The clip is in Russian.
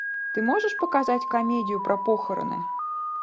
ты можешь показать комедию про похороны